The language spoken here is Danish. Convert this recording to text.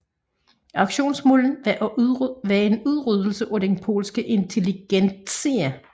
Aktionens mål var en udryddelse af den polske intelligentsia